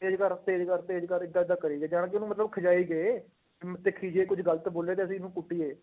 ਤੇਜ ਕਰ, ਤੇਜ ਕਰ, ਤੇਜ ਕਰ ਏਦਾਂ ਏਦਾਂ ਕਰੀ ਗਏ, ਜਾਣ ਕੇ ਉਹਨੂੰ ਮਤਲਬ ਖਿਝਾਈ ਗਏ ਅਮ ਦੇਖੀ ਜੇ ਇਹ ਕੁੱਝ ਗ਼ਲਤ ਬੋਲਿਆ ਤਾਂ ਅਸੀਂ ਇਹਨੂੰ ਕੁੱਟੀਏ,